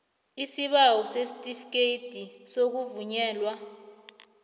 isibawo sesitifikhethi sokuvunyelwa